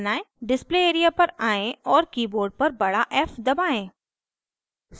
display area पर आएं और keyboard पर बड़ा f दबाएं